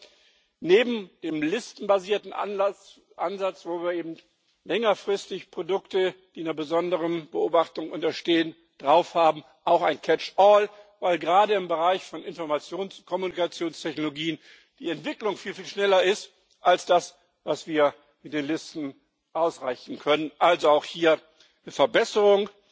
Wir wollen neben dem listenbasierten Ansatz, wonach eben längerfristig Produkte, die einer besonderen Beobachtung unterstehen, auf Listen erfasst werden, auch ein catch all weil gerade im Bereich der Informations und Kommunikationstechnologien die Entwicklung viel schneller ist als das, was wir mit den Listen ausrichten können also auch hier eine Verbesserung.